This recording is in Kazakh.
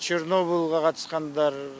чернобылға қатысқандар